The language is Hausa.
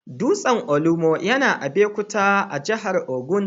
Dutsen Olumo yana Abeokuta, a jihar Ogun.